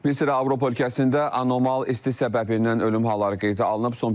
Müəllim, Avropa ölkəsində anormal isti səbəbindən ölüm halları qeydə alınıb.